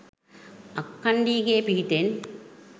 අක්කණ්ඩීගේ පිහිටෙන්